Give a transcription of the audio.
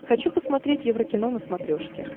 хочу посмотреть еврокино на смотрешке